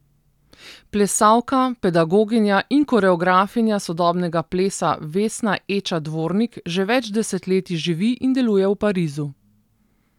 Plesalka, pedagoginja in koreografinja sodobnega plesa Vesna Eča Dvornik že več desetletij živi in deluje v Parizu.